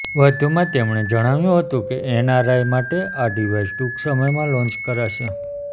વધુમાં તેમણે જણાવ્યું હતું કે એનઆરઆઇ માટે આ ડિવાઇસ ટૂંક સમયમાં લોન્ચ કરાશે